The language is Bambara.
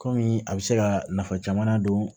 Kɔmi a bɛ se ka nafa caman don